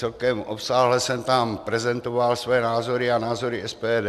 Celkem obsáhle jsem tam prezentoval své názory a názory SPD.